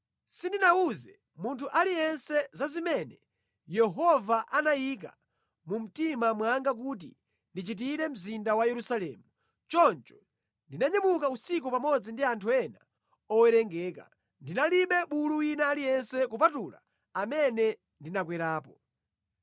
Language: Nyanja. Sindinawuze munthu aliyense za zimene Yehova anayika mu mtima mwanga kuti ndichitire mzinda wa Yerusalemu. Choncho ndinanyamuka usiku pamodzi ndi anthu ena owerengeka. Ndinalibe bulu wina aliyense kupatula amene ndinakwerapo.